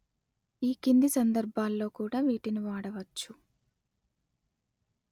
ఈ కింది సందర్భాలలో కూడా వీటిని వాడవచ్చు